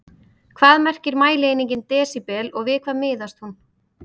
Hvað merkir mælieiningin desíbel og við hvað miðast hún?